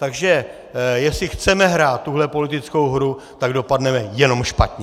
Takže jestli chceme hrát tuhle politickou hru, tak dopadneme jenom špatně!